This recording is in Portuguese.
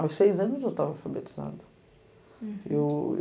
Aos seis anos, eu estava alfabetizada. Uhum. Eu